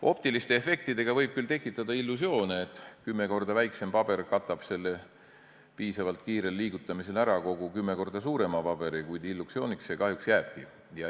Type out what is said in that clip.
Optiliste efektidega võib küll tekitada illusioone, et kümme korda väiksem paber katab selle piisavalt kiire liigutamise korral ära kogu kümme korda suurema paberi, kuid illusiooniks see kahjuks jääbki.